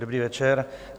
Dobrý večer.